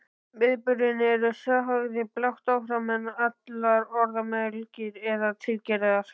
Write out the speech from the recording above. Viðburðirnir eru sagðir blátt áfram án allrar orðamælgi eða tilgerðar.